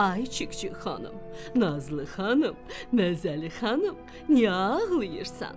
Ay Çik-çik xanım, nazlı xanım, məzəli xanım, niyə ağlayırsan?